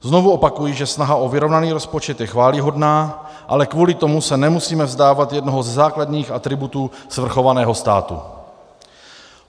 Znovu opakuji, že snaha o vyrovnaný rozpočet je chvályhodná, ale kvůli tomu se nemusíme vzdávat jednoho ze základních atributů svrchovaného státu.